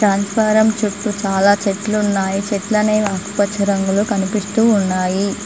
Transformer చుట్టూ చాలా చెట్లున్నాయి చెట్లనేవి ఆకుపచ్చ రంగులో కనిపిస్తూ ఉన్నాయి.